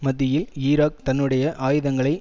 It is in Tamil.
மத்தியில் ஈராக் தன்னுடைய ஆயுதங்களை